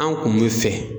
An kun bɛ fɛ